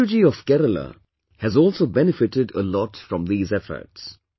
Manju ji of Kerala has also benefited a lot from these efforts